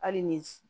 Hali ni